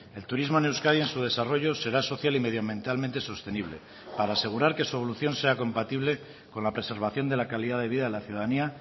el turismo en euskadi en su desarrollo será social y medioambientalmente sostenible para asegurar que su evolución sea compatible con la preservación de la calidad de vida de la ciudadanía